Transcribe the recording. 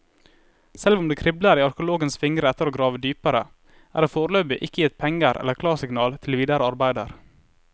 Selv om det kribler i arkeologenes fingre etter å grave dypere, er det foreløpig ikke gitt penger eller klarsignal til videre arbeider.